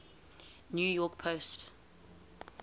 new york post